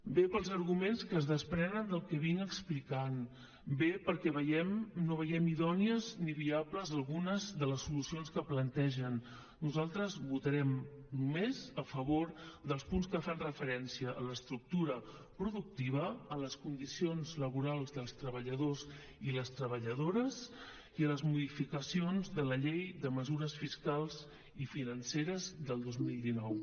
bé pels arguments que es desprenen del que he explicat bé perquè no veiem idònies ni viables algunes de les solucions que plantegen nosaltres votarem només a favor dels punts que fan referència a l’estructura productiva a les condicions laborals dels treballadors i les treballadores i a les modificacions de la llei de mesures fiscals i financeres del dos mil dinou